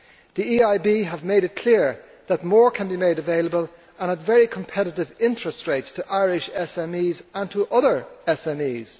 The EIB has made it clear that more can be made available, and at very competitive interest rates, to Irish SMEs and to other SMEs.